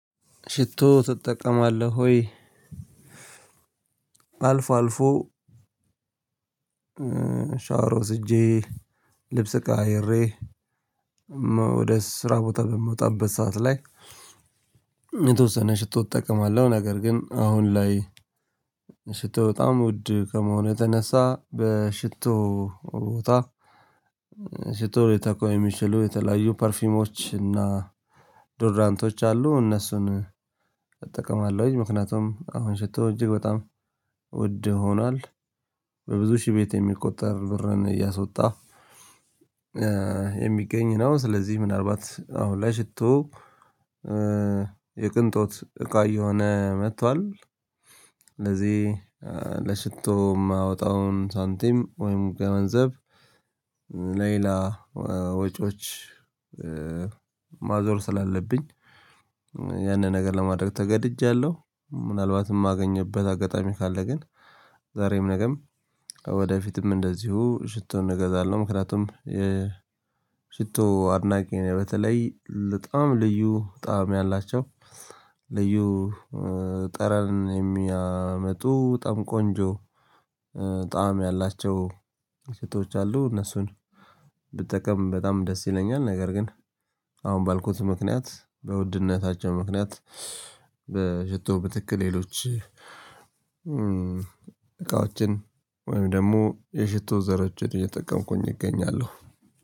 ሽቶ ትጠቀማለህ ወይ? አልፎ አልፎ ሻወር ወስጄ ልብስ ቀያይሬ ወደ ስራ ቦታ በምወጣበት ሰዓት ላይ የተወሰነ ሽቶ እጠቀማለሁ። ነገር ግን አሁን ላይ ሽቶ በጣም ውድ ከመሆኑ የተነሳ በሽቶ ቦታ ሽቶ ሊተኩ የሚችሉ የተለያዩ ፐርፊሞች እና ዶደራንቶች አሉ እነሱን እጠቀማለሁ። እንግዲህ ምክንያቱም አሁን ሽቶ እጅግ በጣም ውድ ሆኗል በብዙ ሺህ ቤት የሚቆጠር ብርን እያስወጣ የሚገኝ ነው። ስለዚህ ምናልባት አሁን ላይ ሽቶ የቅንጦት እቃ እየሆነ መጥቷል። ስለዚህ ለሽቶ የማወጣውን ሳንቲም ወይም ገንዘብ ለሌላ ወጪዎች ማዞር ስላለብኝ ያንን ነገር ለማድረግ ተገድጃለሁ። ምናልባትም የማገኝበት አጋጣሚ ካለ ግን ዛሬም ነገም ወደፊትም እንደዚሁ ሽቶ እገዛለሁ ምክንያቱም የ ሽቶ አድናቂ ነኝ። በተለይ በጣም ልዩ ጣዕም ያላቸው ልዩ ጠረን የሚያመጡ በጣም ቆንጆ ጣዕም ያላቸው ሽቶች አሉ እነሱን ብጠቀም በጣም ደስ ይለኛል። ነገር ግን አሁን ባልኩት ምክንያት በውድነታቸው ምክንያት በሽቶ በትክክል ሌሎች እቃዎችን ወይም ደግሞ የሽቶ ዘሮችን እየተጠቀምኩኝ እገኛለሁ።